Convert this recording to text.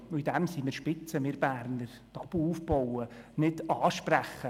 Darin sind wir spitze, wir Berner: Tabus aufbauen, nicht ansprechen.